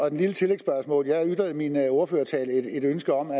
et lille tillægsspørgsmål er jeg ytrede i min ordførertale et ønske om at